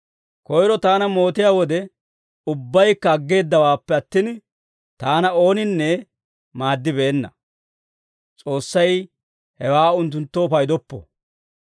Koyro taana mootiyaa wode, ubbaykka aggeeddawaappe attin, taana ooninne maaddibeenna. S'oossay hewaa unttunttoo paydoppo.